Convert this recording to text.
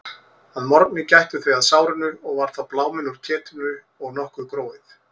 Að morgni gættu þau að sárinu og var þá bláminn úr ketinu og nokkuð gróið.